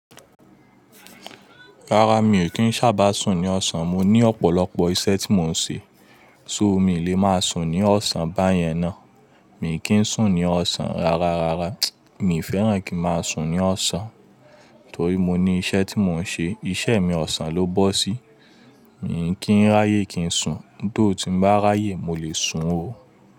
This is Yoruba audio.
Rárá mi ò kí ń sábà sùn ní ọ̀sán, mo ní ọ̀pọ̀lọpọ̀ iṣẹ́ tí mò ń ṣe, ṣó mi lè máa sùn ní ọ̀sán báyẹn ná. Mi kì ń sùn ní ọ̀sán rárá, rárá mi ò fẹ́ràn kí máa sùn ní ọ̀sán torí mo ní iṣẹ́ tí mò ń ṣe, iṣẹ́ mi ọ̀sán ló bó sí. Mi kí ń ráyè kí n sùn, tó ti bá ráyè mo lè sun o.